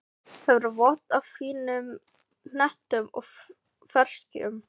Hefur vott af fínum hnetum og ferskjum.